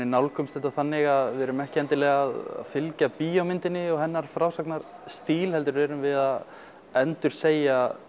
nálgumst þetta þannig að við erum ekki endilega að fylgja bíómyndinni og hennar frásagnarstíl heldur erum við að endursegja